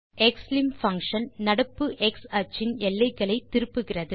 க்ஸ்லிம் functionநடப்பு எக்ஸ் அச்சின் எல்லைகளை திருப்புகிறது